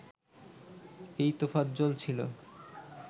এই তোফাজ্জল ছিলো